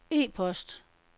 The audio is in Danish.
e-post